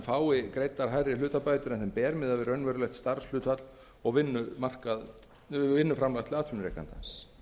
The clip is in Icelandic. fái greiddar hærri hlutabætur en þeim ber miðað við raunverulegt starfshlutfall og vinnuframlag til atvinnurekandans